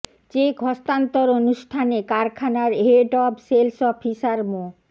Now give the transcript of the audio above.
check হস্তান্তর অনুষ্ঠানে কারখানার head of sales officer Md